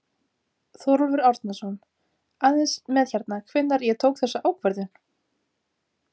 Þórólfur Árnason: Aðeins með hérna, hvenær ég tók þessa ákvörðun?